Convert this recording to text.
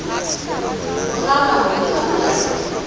boga manoni a polase ye